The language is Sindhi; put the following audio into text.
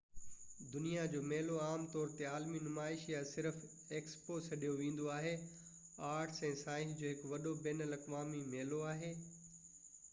دنيا جو ميلو عام طور تي عالمي نمائش، يا صرف ايڪسپو سڏيو ويندو آهي آرٽس ۽ سائنس جو هڪ وڏو بين الاقوامي ميلو آهي